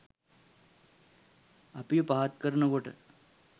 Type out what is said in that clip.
අපිව පහත් කරන කොට